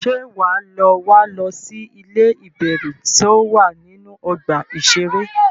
Ṣé wà á lọ wá lọ sí ilé ìbẹ̀rù tó wà nínú ọgbà iṣẹré?